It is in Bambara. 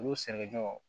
Olu sɛnɛkɛɲɔgɔnw